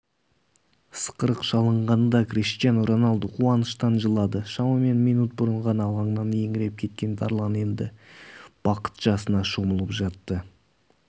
ысқырық шалынғанда криштиану роналду қуаныштан жылады шамамен минут бұрын ғана алаңнан еңіреп кеткен тарлан енді бақыт жасына шомылып жатты